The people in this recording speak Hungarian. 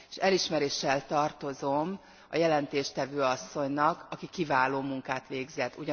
Elismeréssel tartozom a jelentéstevő asszonynak, aki kiváló munkát végzett.